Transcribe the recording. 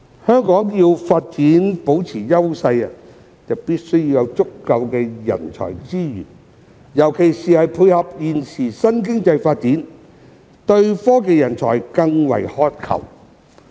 香港要保持發展優勢，必須有足夠的人才資源，尤其是為配合現時的新經濟發展，對科技人才更為渴求。